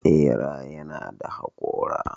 Ɓeraye nada haƙora.